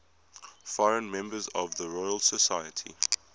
foreign members of the royal society